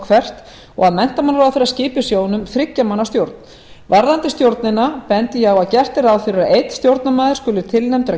hvert og að menntamálaráðherra skipi sjóðnum þriggja manna stjórn varðandi stjórnina bendi ég að gert er ráð fyrir að einn stjórnarmaður skuli tilnefndur af